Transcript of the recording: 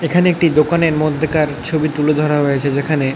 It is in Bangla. এখানে একটি দোকানের মধ্যেকার ছবি তুলে ধরা হয়েছে যেখানে--